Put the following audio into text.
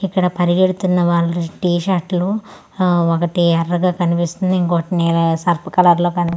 ఇక్కడ పరిగెడుతున్న వాలు టీ షర్ట్ లు అ ఒకటి ఎర్రగా కనిపిస్తుంది ఇంకోటి ని-ని సర్ఫ్ కలర్ లో కని--